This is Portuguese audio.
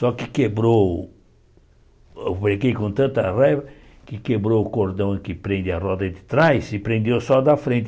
Só que quebrou o... Eu brequei com tanta raiva que quebrou o cordão que prende a roda de trás e prendeu só o da frente.